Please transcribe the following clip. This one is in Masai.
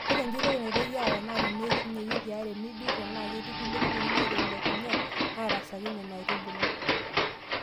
Ore enjurrore naitoki aaya naa teneidhunye iwikii are nijurr tenaa ketii kulie kukuni naatelekunye naarasaki Nena aitubulu.